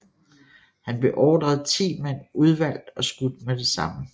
Han beordrede ti mænd udvalgt og skudt med det samme